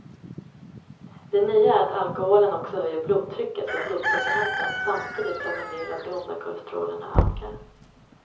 Det nya är att alkoholen också höjer blodtrycket och blodsockerhalten samtidigt som en del av de onda kolesterolerna ökar.